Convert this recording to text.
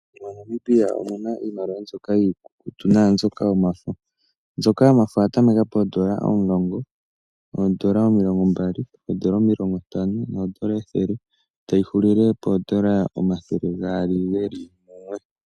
MoNamibia omu na iimaliwa mbyoka iikukutu naambyoka yomafo. Mbyoka yomafo oya tameka poodola omulongo, oodola omilongombali, oodola omilongontano noodola ethele tayi hulile poodola omathele gaali ge li mumwe.